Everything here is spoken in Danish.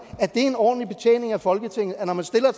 at det er en ordentlig betjening af folketinget at når man stiller